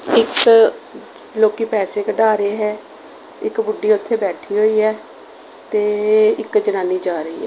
ਇੱਕ ਲੋਕੀ ਪੈਸੇ ਕਢਾ ਰਹੇ ਹੈ। ਇੱਕ ਬੁੱਢੀ ਉੱਥੇ ਬੈਠੀ ਹੋਈ ਹੈ ਤੇ ਇੱਕ ਜਨਾਨੀ ਜਾ ਰਹੀ ਹੈ।